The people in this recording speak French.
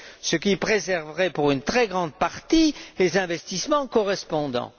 II, ce qui préserverait pour une très grande partie les investissements correspondants.